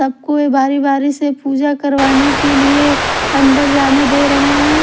सबको बारी-बारी से पूजा करवाने के लिए अंदर जाने दे रहे हैं।